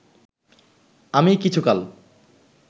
আমি কিছুকাল